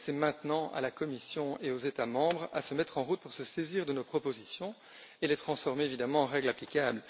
Il appartient maintenant à la Commission et aux États membres de se mettre en route pour se saisir de nos propositions et les transformer, évidemment, en règles applicables.